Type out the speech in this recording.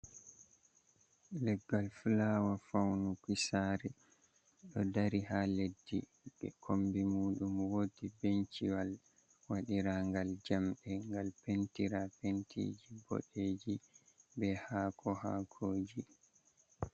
Leggal fulawa faunuki sare, ɗo dari ha leddi be kombi muɗum wodi benciwal wadirangal jamɗe ngal pentira pentiji boɗejum be hako hakoji.